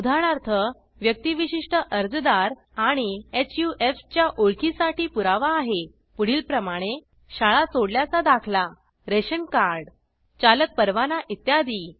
उदाहरणार्थ व्यक्तिविशिष्ट अर्जादार आणि हफ च्या ओळखीसाठी पुरावा आहे पुढीलपरमाणे शाळा सोडल्याचा दाखला रॅशन कार्ड चालक परवाना इत्यादी